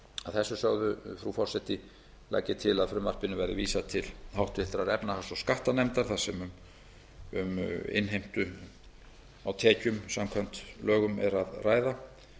þessu sögðu frú forseti legg ég til að frumvarpinu verði vísað til háttvirtrar efnahags og skattanefndar þar sem um innheimtu á tekjum samkvæmt lögum er að ræða